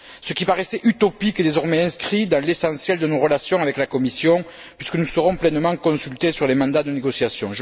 Ce qui paraissait utopique est désormais inscrit dans l'essentiel de nos relations avec la Commission puisque nous serons pleinement consultés sur les mandats de négociations.